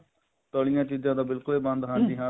ਤਲੀਆਂ ਚੀਜ਼ਾਂ ਤੇ ਬਿਲਕੁਲ ਹੀ ਬੰਦ ਹਾਂਜੀ ਹਾਂਜੀ